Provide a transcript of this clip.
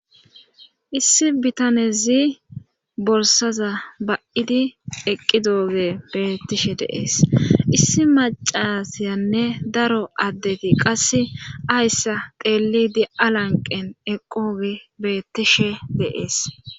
issi bitanezi bolsaza ba7idi eqqi dooge beettishe deees issi macasiyanne daro addeti qasse ayssa teelidi alanqen eqqogi beettishe deees